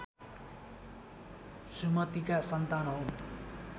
सुमतिका सन्तान हौ